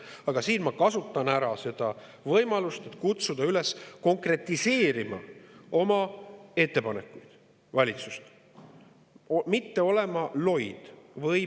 Aga siinkohal ma kasutan võimalust kutsuda valitsust üles konkretiseerima oma ettepanekuid ja mitte olema loid.